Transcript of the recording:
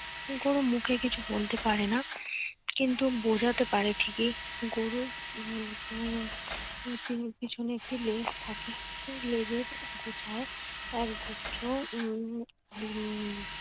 গরু মুখে কিছু বলতে পারে না। কিন্তু বোঝাতে পারে ঠিকই। গরুর উম এর পেছনে একটি লেজ থাকে সেই লেজের গোছায় এক গুচ্ছ উম লোম